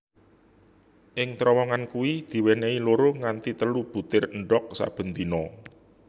Ing terowongan kui diwenehi loro nganti telu butir Endhog saben dina